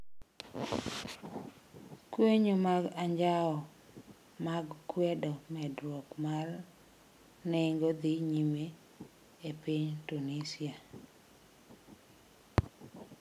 Kwenyo mag anjao mag kwedo medruok mar nengo dhi nyime e piny Tunisia